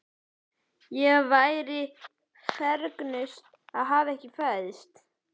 Ég væri fegnust að hafa ekki fæðst.